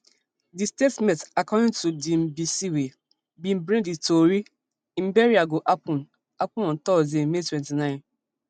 di statement according to diimbcwey bin break di tori im burial go happun happun on thursday may twenty-nine